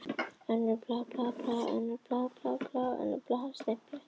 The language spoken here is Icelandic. Önnur aðferð er að þrýsta bráðnu gleri í mót með eins konar pressu eða stimpli.